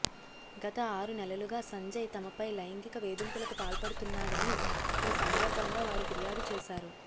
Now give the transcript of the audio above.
గత ఆరు నెలలుగా సంజయ్ తమపై లైంగిక వేధింపులకు పాల్పడుతున్నాడని ఈ సందర్భంగా వారు ఫిర్యాదు చేశారు